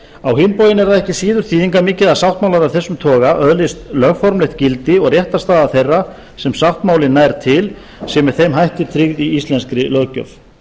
á hinn bóginn er það ekki síður þýðingarmikið að sáttmálar af þessum toga öðlist lögformlegt gildi og réttarstaða þeirra sem sáttmálinn nær til sé með þeim hætti tryggð í íslenskri löggjöf